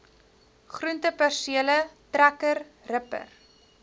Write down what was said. groentepersele trekker ripper